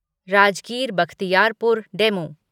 Rajgir Bakhtiyarpur DEMU